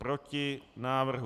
Proti návrhu.